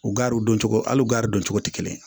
U gariw don cogo hali u ganron cogo tɛ kelen ye